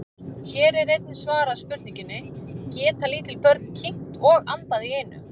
Hér er einnig svarað spurningunni: Geta lítil börn kyngt og andað í einu?